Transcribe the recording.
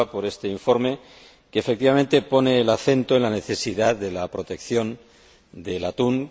Romeva por este informe que, efectivamente, pone el acento en la necesidad de la protección del atún.